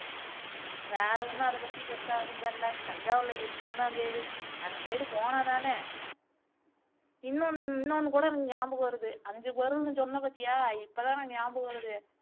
வேற ஒன்னும் அதபத்தி பெருசா ஒன்னும் தெரியல தஞ்சாவுர்லே இருக்கோம்னு தான் பேரு அந்த side போனா தானே இன்னும் இன்னோன்னு கூட எனக்கு நியாபகம் வருது ஐந்து பொருள்னு சொன்னபத்தியா இப்போதான் எனக்கு நியாபகம் வருது